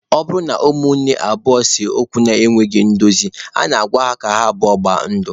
Ọ bụrụ na ụmụnne abụọ ese okwu na-ekweghị ndozi, a na-agwa ha abụọ gbaa ndụ.